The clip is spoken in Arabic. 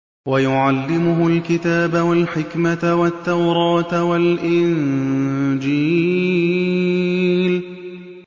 وَيُعَلِّمُهُ الْكِتَابَ وَالْحِكْمَةَ وَالتَّوْرَاةَ وَالْإِنجِيلَ